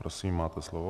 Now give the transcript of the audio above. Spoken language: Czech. Prosím, máte slovo.